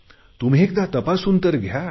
तुम्ही एकदा तपासून तर घ्या